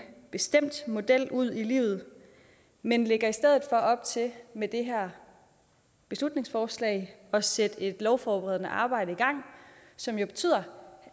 bestemt model ud i livet men lægger i stedet for op til med det her beslutningsforslag at sætte et lovforberedende arbejde i gang som jo betyder